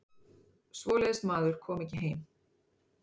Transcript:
Svoleiðis maður kom ekki heim.